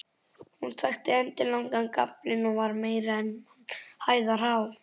Hún þakti endilangan gaflinn og var meira en mannhæðar há.